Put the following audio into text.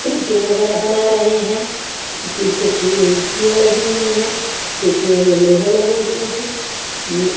painting वगैरह बना रहे हैं पीछे खिड़कियाँ लगी हुई हैं खिड़कियों में लोहे लगे हुए हैं --